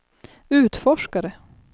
utforskare